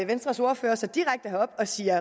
venstres ordfører sig herop og siger